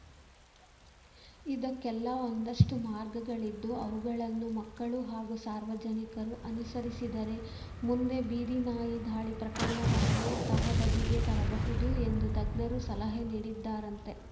ಇದಕ್ಕೆಲ್ಲಾ ಒಂದಷ್ಟುಮಾರ್ಗಗಳಿದ್ದು ಅವುಗಳನ್ನು ಮಕ್ಕಳು ಹಾಗೂ ಸಾರ್ವಜನಿಕರು ಅನುಸರಿಸಿದರೆ ಮುಂದೆ ಬೀದಿ ನಾಯಿ ದಾಳಿ ಪ್ರಕರಣವನ್ನು ತಹಬದಿಗೆ ತರಬಹುದು ಎಂದು ತಜ್ಞರು ಸಲಹೆ ನೀಡಿದ್ದಾರಂತೆ